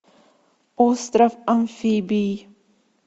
остров амфибий